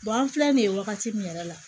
an filɛ nin ye wagati min yɛrɛ la